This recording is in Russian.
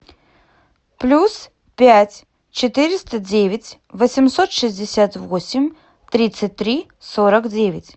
плюс пять четыреста девять восемьсот шестьдесят восемь тридцать три сорок девять